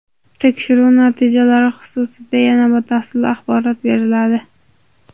Tekshiruv natijalari xususida yana batafsil axborot beriladi.